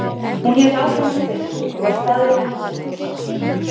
Hún hélt áfram að spyrja og var staðráðin í að fá svar.